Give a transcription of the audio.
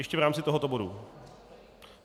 Ještě v rámci tohoto bodu?